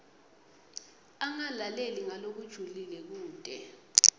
angalaleli ngalokujulile kute